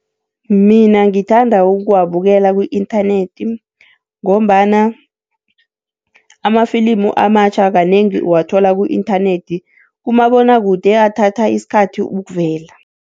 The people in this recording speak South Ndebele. Mina ngithanda ukuwabukela ku-inthanethi ngombana amafilimu amatjha kanengi uwathola ku-inthanethi, kumabonwakude athatha isikhathi ukuvela.